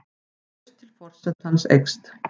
Traust til forsetans eykst